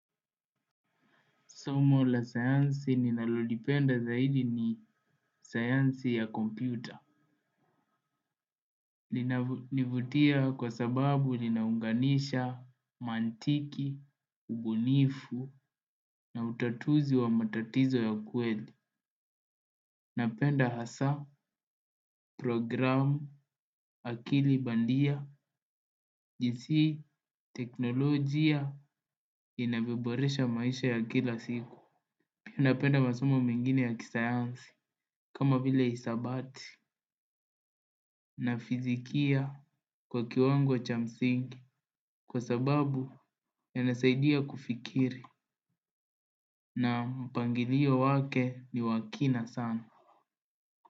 Somo la sayansi ninalolipenda zaidi ni sayansi ya kompyuta. Linanivutia kwa sababu linaunganisha maantiki, ubunifu na utatuzi wa matatizo ya kweli. Napenda hasa, programu, akili bandia, jinsi, teknolojia, inavyoboresha maisha ya kila siku. Napenda masomu mengine ya kisayansi kama vile hisabati na fizikia kwa kiwango cha msingi kwa sababu yanasaidia kufikiri na mpangilio wake ni wa kina sana.